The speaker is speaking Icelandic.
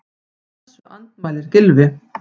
Þessu andmælir Gylfi.